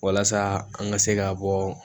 Walasa an ka se ka bɔ